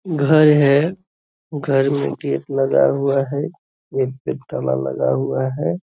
घर है घर मे गेट लगा हुआ है गेट पे ताला लगा हुआ है |